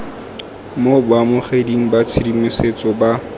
mo baamogeding ba tshedimosetso ba